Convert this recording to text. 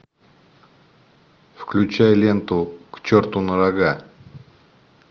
включай ленту к черту на рога